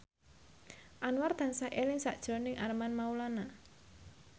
Anwar tansah eling sakjroning Armand Maulana